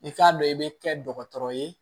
I k'a dɔn i bɛ kɛ dɔgɔtɔrɔ ye